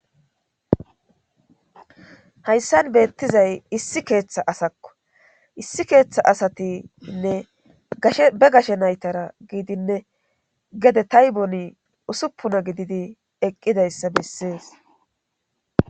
hayssan beettizay issi keeththa asakko issi keeththa asatiinne gashe be gashe naytara giidinne gede tayboni usuppuna gididi eqqidayssa bessees